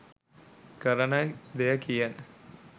කරන දෙය කියන,